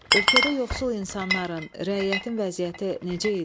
Ölkədə yoxsul insanların, rəiyyətin vəziyyəti necə idi?